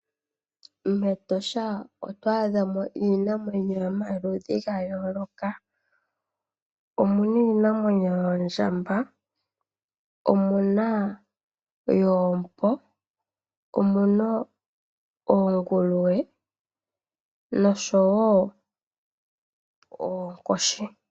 MEtosha oto adha mo iinamwenyo yomaludhi ga yooloka. Omuna oondjamba, omuna oompo, oonguluwe nosho woo oonkoshi.